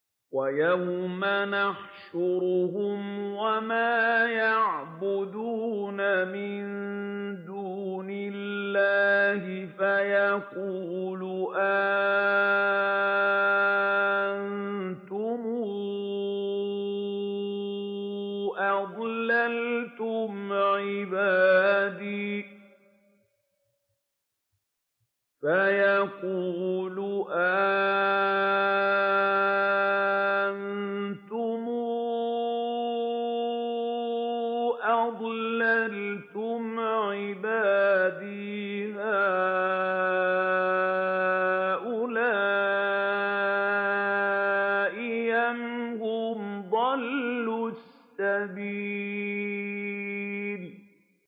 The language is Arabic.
وَيَوْمَ يَحْشُرُهُمْ وَمَا يَعْبُدُونَ مِن دُونِ اللَّهِ فَيَقُولُ أَأَنتُمْ أَضْلَلْتُمْ عِبَادِي هَٰؤُلَاءِ أَمْ هُمْ ضَلُّوا السَّبِيلَ